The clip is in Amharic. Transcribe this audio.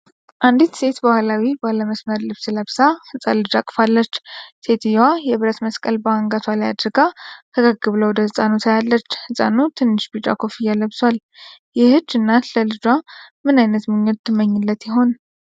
አንዲት ሴት በባህላዊ ባለ መስመር ልብስ ለብሳ፣ ህጻን ልጅ አቅፋለች። ሴትየዋ የብረት መስቀል በአንገቷ ላይ አድርጋ፣ ፈገግ ብላ ወደ ህፃኑ ታያለች። ህጻኑ ትንሽ ቢጫ ኮፍያ ለብሷል። ይህች እናት ለልጇ ምን ዓይነት ምኞት ትመኝለት ይሆን?